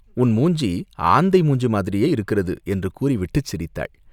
உன் மூஞ்சி ஆந்தை மூஞ்சி மாதிரியே இருக்கிறது!" என்று கூறிவிட்டுச் சிரித்தாள்.